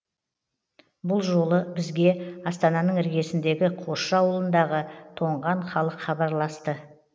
бұл жолы бізге астананың іргесіндегі қосшы ауылындағы тоңған халық хабарласты